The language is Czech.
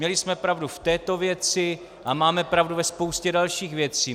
Měli jsme pravdu v této věci a máme pravdu ve spoustě dalších věcí.